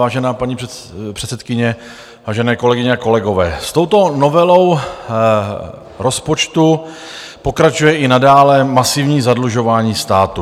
Vážená paní předsedkyně, vážené kolegyně a kolegové, s touto novelou rozpočtu pokračuje i nadále masivní zadlužování státu.